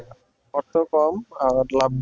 অর্থ কম আবার লাভ বেশি।